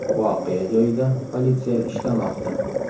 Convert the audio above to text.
Voqea joyida politsiya ishlamoqda.